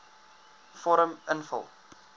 vorm invul